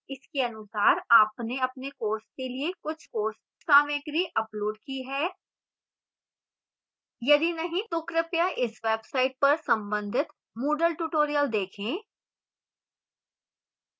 इसके अनुसार आपने अपने कोर्स के लिए कुछ कोर्स सामग्री अपलोड की है यदि नहीं तो कृपया इस वेबसाइट पर संबंधितmoodle ट्यूटोरियल देखें